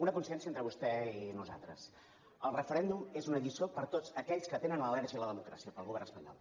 una coincidència entre vostè i nosaltres el referèndum és una lliçó per a tots aquells que tenen al·lèrgia a la democràcia per al govern espanyol